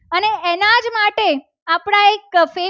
Fake